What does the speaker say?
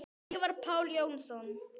Ívar Páll Jónsson